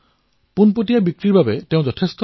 তথাপিও তেওঁ খেতি কৰিবলৈ দৃঢ় সিদ্ধান্ত গ্ৰহণ কৰিছিল